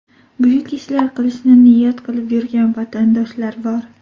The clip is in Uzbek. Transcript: Buyuk ishlar qilishni niyat qilib yurgan vatandoshlar bor.